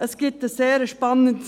Es gibt ein sehr spannendes …